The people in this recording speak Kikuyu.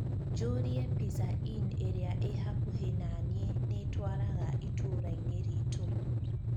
njūrie pizza inn īria ī hakuhi naniī nītwaraga itūrainī ritū